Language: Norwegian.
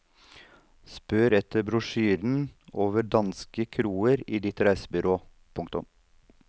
Spør etter brosjyren over danske kroer i ditt reisebyrå. punktum